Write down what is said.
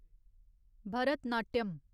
Bharatanatyam